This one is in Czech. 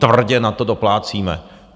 Tvrdě na to doplácíme.